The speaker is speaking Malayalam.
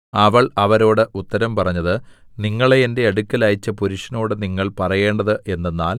അവൾ അവരോട് ഉത്തരം പറഞ്ഞത് നിങ്ങളെ എന്റെ അടുക്കൽ അയച്ച പുരുഷനോട് നിങ്ങൾ പറയേണ്ടത് എന്തെന്നാൽ